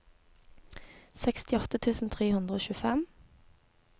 sekstiåtte tusen tre hundre og tjuefem